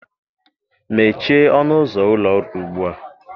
mechie ọnụ ụzọ ụlọ ọrụ ugbu a!